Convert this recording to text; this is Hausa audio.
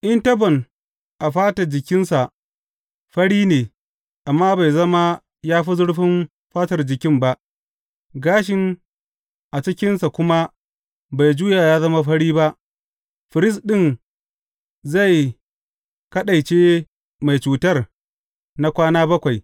In tabon a fata jikinsa fari ne amma bai zama ya fi zurfin fatar jikin ba, gashin a cikinsa kuma bai juya ya zama fari ba, firist ɗin zai kaɗaice mai cutar na kwana bakwai.